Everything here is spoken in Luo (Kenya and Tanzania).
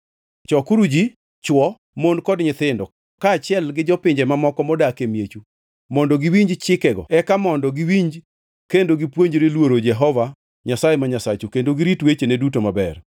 Chokuru ji, chwo, mon kod nyithindo kaachiel gi jopinje mamoko modak e miechu mondo giwinj chikego eka mondo giwinj kendo gipuonjre luoro Jehova Nyasaye ma Nyasachu kendo girit wechene duto maber.